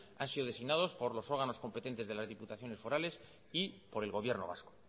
han sido designados por los órganos competentes de las diputaciones forales y por el gobierno vasco